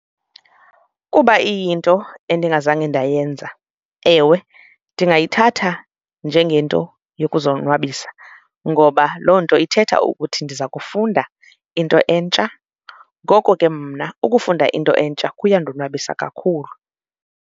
Kuba iyinto endingazange ndayenza, ewe, ndingayithatha njengento yokuzonwabisa ngoba loo nto ithetha ukuthi ndiza kufunda into entsha. Ngoko ke mna ukufunda into entsha kuyandonwabisa kakhulu.